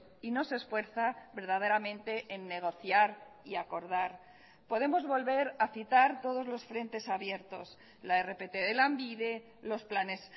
y no se esfuerza verdaderamente en negociar y acordar podemos volver a citar todos los frentes abiertos la rpt de lanbide los planes